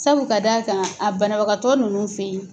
Sabu ka d'a kan a banabagatɔ ninnu fɛ ye